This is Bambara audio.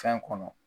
Fɛn kɔnɔ